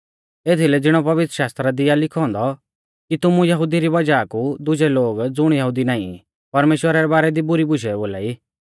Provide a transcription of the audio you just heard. एथीलै ज़िणौ कि पवित्रशास्त्रा दी आ लिखौ औन्दौ कि तुमु यहुदिऊ री वज़ाह कु दुजै लोग ज़ुण यहुदी नाईं ई परमेश्‍वरा रै बारै दी बुरी बुशै बोलाई